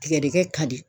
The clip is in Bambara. Tigɛdɛgɛkɛ ka di